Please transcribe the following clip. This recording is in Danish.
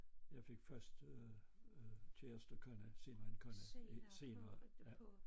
Jeg fik først øh øh kæreste kone senere en kone senere ja